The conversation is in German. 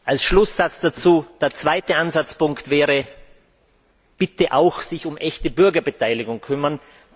Als Schlusssatz dazu Der zweite Ansatzpunkt wäre, sich auch um echte Bürgerbeteiligung zu kümmern.